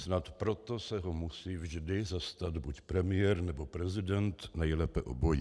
Snad proto se ho musí vždy zastat buď premiér, nebo prezident, nejlépe obojí.